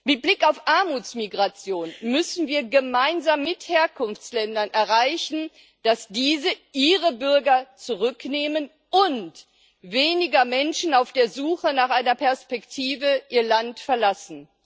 Mit Blick auf Armutsmigration müssen wir gemeinsam mit den Herkunftsländern erreichen, dass diese ihre Bürger zurücknehmen und weniger Menschen auf der Suche nach einer Perspektive ihr Land verlassen.